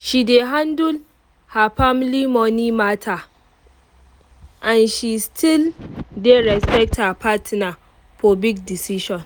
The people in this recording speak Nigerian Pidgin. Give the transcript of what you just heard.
she dey handle her family money matter and she still dey respect her partner for big decision